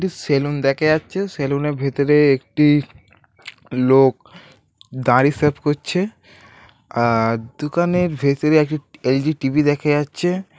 Salon দেখা যাচ্ছে সেলুনের ভেতরে একটি লোক দাড়ি সেভ করছে আআর দোকানের ভিতরে একটি এল.ই.ডি টি.ভি. দেখা যাচ্ছে।